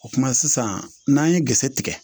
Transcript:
O kuma sisan n'an ye gɛrisigɛ tigɛ